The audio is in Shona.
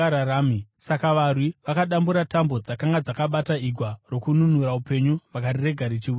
Saka varwi vakadambura tambo dzakanga dzakabata igwa rokununura upenyu vakarirega richiwira mumvura.